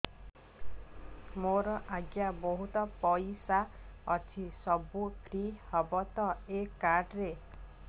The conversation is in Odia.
ମୋର ଆଜ୍ଞା ବହୁତ ପଇସା ଅଛି ସବୁ ଫ୍ରି ହବ ତ ଏ କାର୍ଡ ରେ